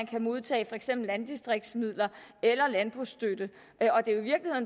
kan modtage for eksempel landdistriktsmidler eller landbrugsstøtte